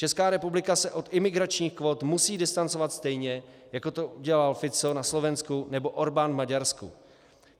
Česká republika se od imigračních kvót musí distancovat stejně, jako to udělal Fico na Slovensku nebo Orbán v Maďarsku.